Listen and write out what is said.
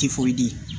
Tifoyidi